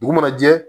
Dugu mana jɛ